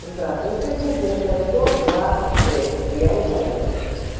здравствуйте пушкинская сто двадцать шесть первый подъезд